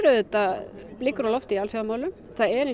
auðvitað blikur á lofti í alþjóðamálum það er